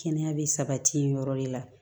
Kɛnɛya bɛ sabati yɔrɔ de la